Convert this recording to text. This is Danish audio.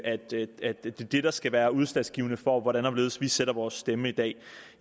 at det er det det der skal være udslagsgivende for hvordan og hvorledes vi sætter vores stemme i dag